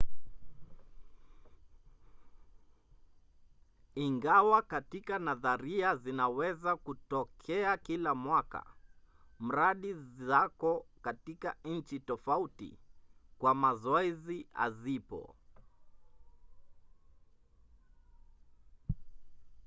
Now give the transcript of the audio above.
ingawa katika nadharia zinaweza kutokea kila mwaka mradi zako katika nchi tofauti kwa mazoezi hazipo